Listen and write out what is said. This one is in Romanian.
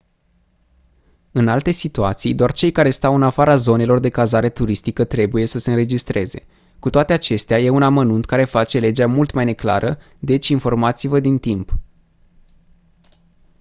în alte situații doar cei care stau în afara zonelor de cazare turistică trebuie să se înregistreze cu toate acestea e un amănunt care face legea mult mai neclară deci informați-vă din timp